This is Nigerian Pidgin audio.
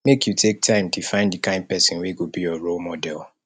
make you take time define di kain pesin wey go be your role model